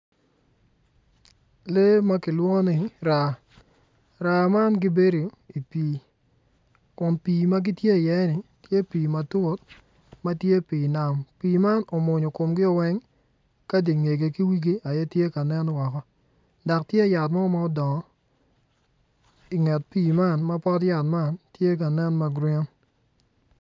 Lee makilwongo ni raa, raa man gibedo i wi pi, kun pi magitye i ye ni tye pi matut matye pi nam, pi man omwonyo komgi weng, ka dingegi ki wigi aye tye ka nen dok tye yat mo ma odongo, i nget pi man mapot yat man tye ka nen magurin.